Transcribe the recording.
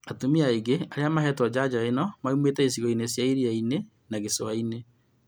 Atumia aingĩ arĩa mahetwo njanjo ĩno maumĩte icigo inĩ cia iria-inĩ na gĩcũa-inĩ